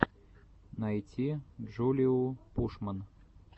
найти джулиу пушман